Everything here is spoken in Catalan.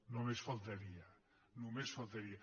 només faltaria només faltaria